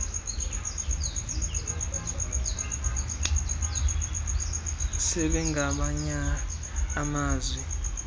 sebe ngamanye amazwi